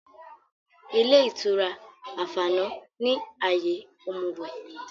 Ilé ìtura Àfánà ni àyè òmùwẹ̀